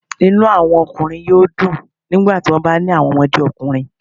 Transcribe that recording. Inu awọn ọkunrin yoo dun nigbati wọn ba ni awọn ọmọde ọkunrin